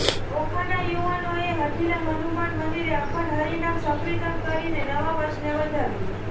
ઓખાના યુવાનોએ હઠીલા હનુમાન મંદિરે અખંડ હરિનામ સર્કિતન કરી નવા વર્ષને વધાવ્યું